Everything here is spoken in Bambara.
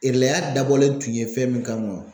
dabɔlen tun ye fɛn min kama